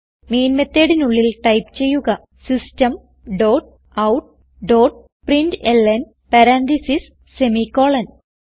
main methodനുള്ളിൽ type ചെയ്യുക system dot out dot println parenthesis semi colon